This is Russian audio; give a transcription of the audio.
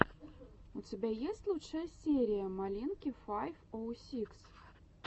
у тебя есть лучшая серия малинки файв оу сикс